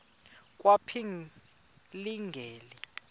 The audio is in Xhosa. kwaphilingile